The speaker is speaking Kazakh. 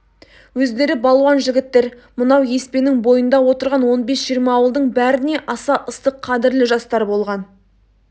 өздері балуан жігіттер мынау еспенің бойында отырған он бес-жиырма ауылдың бәріне аса ыстық қадірлі жастар болған